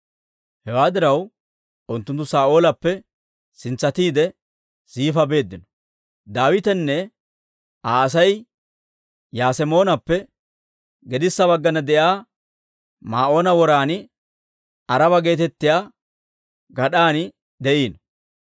Hewaa diraw, unttunttu Saa'oolappe sintsatiide Ziifa beeddino. Daawitenne Aa Asay Yasemoonappe gedissa baggana de'iyaa Maa'oona woran Aaraba geetettiyaa gad'an de'iino.